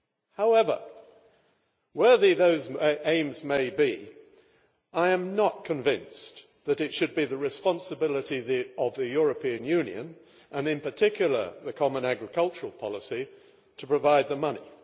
However, worthy as those aims may be, I am not convinced that it should be the responsibility of the European Union, and in particular the common agricultural policy, to provide the money.